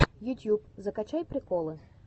ютьюб закачай приколы